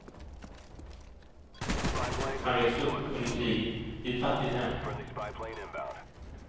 Han växte upp under kriget i ett fattigt hem.